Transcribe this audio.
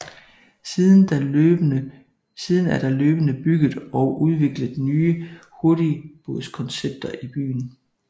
Siden er der løbende bygget og udviklet nye hurtigbådskoncepter i byen